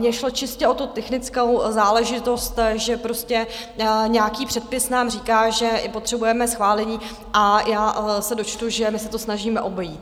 Mně šlo čistě o tu technickou záležitost, že prostě nějaký předpis nám říká, že potřebujeme schválení, a já se dočtu, že my se to snažíme obejít.